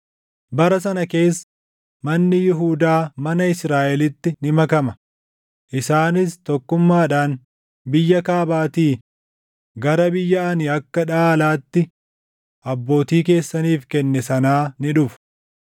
Bara sana keessa manni Yihuudaa mana Israaʼelitti ni makama; isaanis tokkummaadhaan biyya kaabaatii gara biyya ani akka dhaalaatti abbootii keessaniif kenne sanaa ni dhufu.